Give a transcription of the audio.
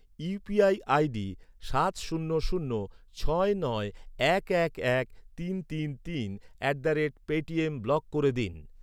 UPI ID সাত শূন্য শূন্য ছয় নয় এক এক এক তিন তিন তিন at the rate Paytm block করে দিন